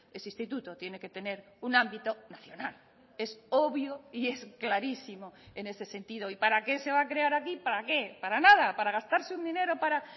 ese instituto tiene que tener un ámbito nacional es obvio y es clarísimo en ese sentido y para qué se va a crear aquí para qué para nada para gastarse un dinero para